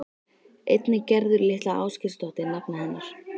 Einnig Gerður litla Ásgeirsdóttir nafna hennar.